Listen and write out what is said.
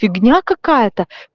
фигня какая-то